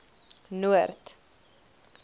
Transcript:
noord